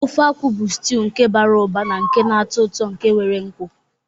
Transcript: Ofe akwu bu stiuu nke bara ụba na nke na-atọ ụtọ nke nwere nkwu.